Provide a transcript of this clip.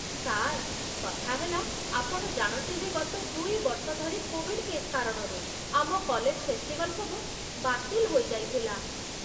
Sir, କଥା ହେଲା, ଆପଣ ଜାଣନ୍ତି ଯେ ଗତ ଦୁଇ ବର୍ଷ ଧରି କୋଭିଡ୍ କେସ୍ କାରଣରୁ ଆମ କଲେଜ୍ ଫେଷ୍ଟିଭଲ୍ ସବୁ ବାତିଲ୍ ହୋଇଯାଇଥିଲା ।